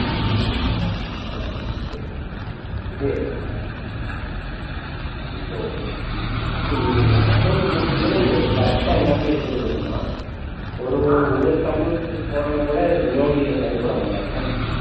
ஆஹ் சரி இது இப்போ இ~ accounts முடிக்கும் போது correct டா எல்லாமே எழுதி இருக்கணுமா ஒரு ஒரு sum போடலைன்னா கூட no due ல sign போட மாட்டாங்களா என்ன